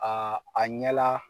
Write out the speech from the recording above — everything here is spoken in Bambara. A a ɲɛ la